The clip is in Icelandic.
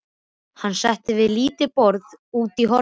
Hann settist við lítið borð úti í horni.